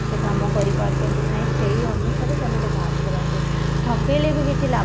ସେ କାମ କରି ପାରୁଛନ୍ତି କି ନାହିଁ ସେଇ ଅନୁସାରେ ସେମାନେ ବାହାର କରନ୍ତି, ଠକେଇଲେ ଭି କିଛି ଲାଭ ନାହିଁ